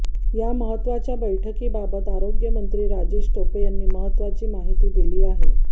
या महत्वाच्या बैठकीबाबत आरोग्यमंत्री राजेश टोपे यांनी महत्वाची माहिती दिली आहे